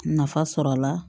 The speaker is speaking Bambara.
Nafa sɔrɔ a la